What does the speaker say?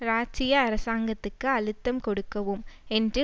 இராச்சிய அரசாங்கத்துக்கு அழுத்தம் கொடுக்கவும் என்று